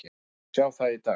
Við fáum að sjá það í dag.